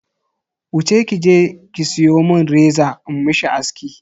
Wuce kije ki siyo mun reza in mishi aski.